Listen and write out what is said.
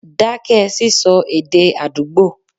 dákẹ́ sísọ èdè àdúgbò.